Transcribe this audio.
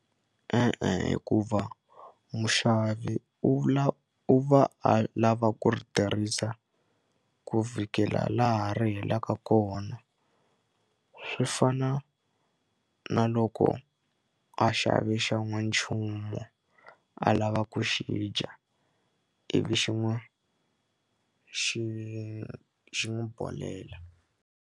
E-e, hikuva muxavi u la u va a lava ku ri tirhisa ku vhikela laha ri helaka kona swi fana na loko a xave xan'wanchumu a lava ku xi dya ivi xin'wi xi xi n'wi bodhlela.